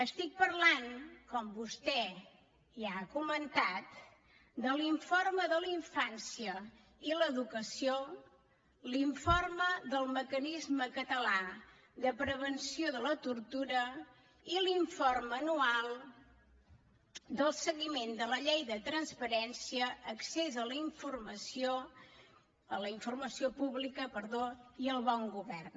estic parlant com vostè ja ha comentat de l’informe de la infància i l’educació l’informe del mecanisme català de prevenció de la tortura i l’informe anual del seguiment de la llei de transparència accés a la informació pública i el bon govern